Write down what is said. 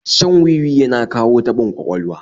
Shan wi-wi yana kawo taɓin ƙwaƙwalwa